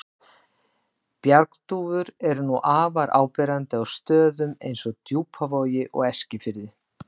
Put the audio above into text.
Bjargdúfur eru nú afar áberandi á stöðum eins og Djúpavogi og Eskifirði.